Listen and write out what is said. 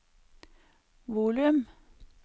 volum